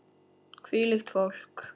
Hvílíkt fólk!